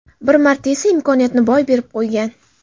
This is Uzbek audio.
Bir marta esa imkoniyatni boy berib qo‘ygan.